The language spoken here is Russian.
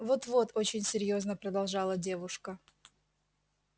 вот вот очень серьёзно продолжала девушка